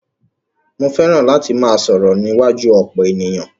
Mó fẹràn láti máà sọ̀rọ̀ níwájú ọ̀pọ̀ ènìyàn.